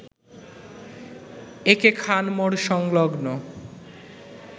একে খান মোড় সংলগ্ন